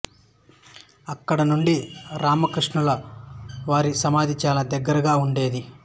అక్కడి నుండి రామకృష్ణుల వారి సమాధి చాలా దగ్గరగా ఉండేది